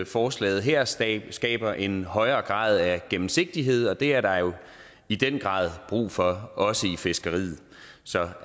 forslaget her skaber skaber en højere grad af gennemsigtighed og det er der jo i den grad brug for også i fiskeriet så